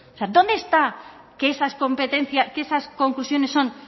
sea dónde está que esas conclusiones son